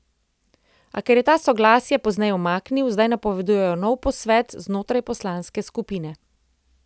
A ker je ta soglasje pozneje umaknil, zdaj napovedujejo nov posvet znotraj poslanske skupine.